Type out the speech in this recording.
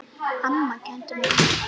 Amma kenndi mér margt.